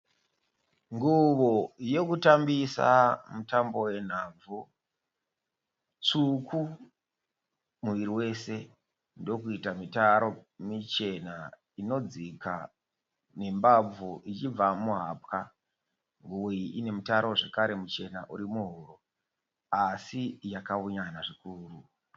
Nguwo yekutambisa mutambo wenhabvu tsvuku muviri wese ndokuita mitaro michena inodzika nembabvu ichibva muhapwa. Nguwo iyi ine mitaro zvakare muchena uri muhuro asi yakaunyana zvikuru.